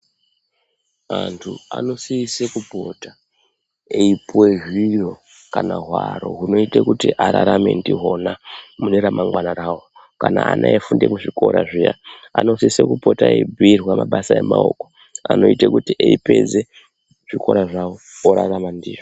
Antu anosise kupota eipuwe zviro kana hwaro hunoite kuti ararame ndihwona mune ramangwana rawo Kana ana eifunda kuzvikora zviya anosise kupota eibhuyirwa mabasa emaoko anoite kuti eipedze zvikora zvawo orarama ndizvo.